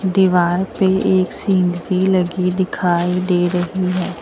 दीवार पे एक सीनरी लगी दिखाई दे रही है।